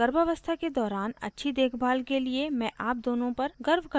गर्भावस्था के दौरान अच्छी देखभाल के लिए मैं आप दोनों पर गर्व करती हूँ